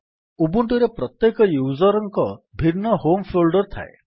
Ubuntu ରେ ପ୍ରତ୍ୟେକ user ଙ୍କର ଭିନ୍ନ ହୋମ୍ ଫୋଲ୍ଡର୍ ଥାଏ